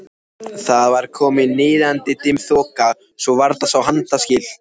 Það var komin niðadimm þoka svo varla sá handaskil.